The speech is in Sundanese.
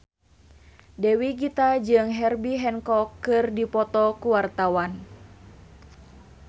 Dewi Gita jeung Herbie Hancock keur dipoto ku wartawan